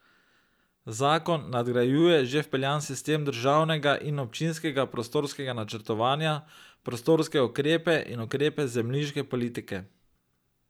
Zakon nadgrajuje že vpeljan sistem državnega in občinskega prostorskega načrtovanja, prostorske ukrepe in ukrepe zemljiške politike.